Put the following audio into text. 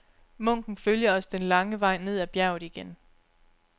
Munken følger os den lange vej ned ad bjerget igen.